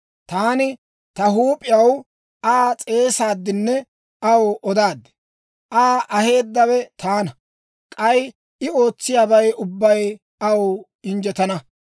Taani ta huup'iyaw Aa s'eesaaddinne aw odaad; Aa aheeddawe taana. K'ay I ootsiyaabay ubbay aw injjetana.